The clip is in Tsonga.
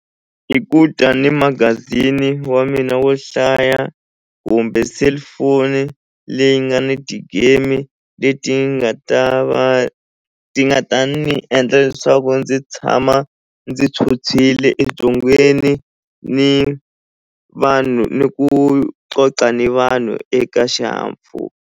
I ku ta ni magazini wa mina wo hlaya kumbe cellphone leyi nga ni ti-game leti nga ta va ti nga tani ni endla leswaku ndzi tshama ndzi tshwutshwile ebyongweni ni vanhu ni ku vanhu eka xihahampfhuka.